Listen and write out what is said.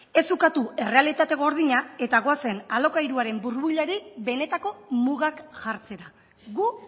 ez ukatu errealitate gordina eta goazen alokairuaren burbuilari benetako mugak jartzera gu